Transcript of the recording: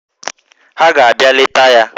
Ha ga-abịa leta ya